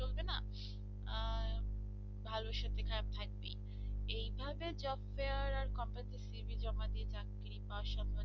ভালো সাথে খারাপ থাকতেই পারে, এইভাবে job fair আর company তে cv জমা দিয়ে পাওয়া চাকরি পাওয়ার সবে